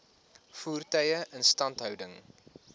voertuie instandhouding